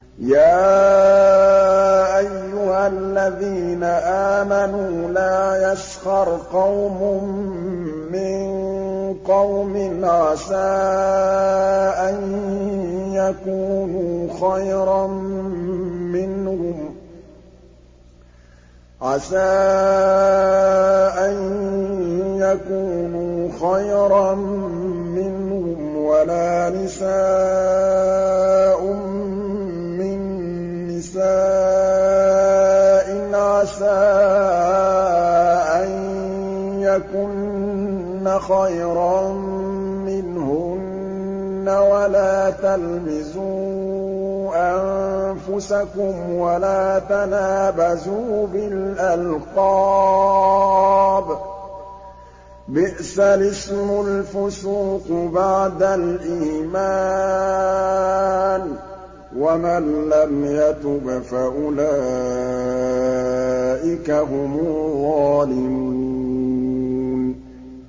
يَا أَيُّهَا الَّذِينَ آمَنُوا لَا يَسْخَرْ قَوْمٌ مِّن قَوْمٍ عَسَىٰ أَن يَكُونُوا خَيْرًا مِّنْهُمْ وَلَا نِسَاءٌ مِّن نِّسَاءٍ عَسَىٰ أَن يَكُنَّ خَيْرًا مِّنْهُنَّ ۖ وَلَا تَلْمِزُوا أَنفُسَكُمْ وَلَا تَنَابَزُوا بِالْأَلْقَابِ ۖ بِئْسَ الِاسْمُ الْفُسُوقُ بَعْدَ الْإِيمَانِ ۚ وَمَن لَّمْ يَتُبْ فَأُولَٰئِكَ هُمُ الظَّالِمُونَ